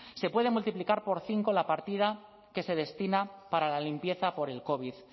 se puede multiplicar por cinco la partida que se destina para la limpieza por el covid